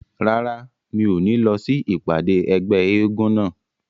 Rárá, mi ò ní lọ sí ìpàdé ẹgbẹ́ eégún náà